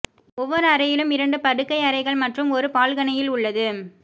ஒவ்வொரு அறையிலும் இரண்டு படுக்கையறைகள் மற்றும் ஒரு பால்கனியில் உள்ளது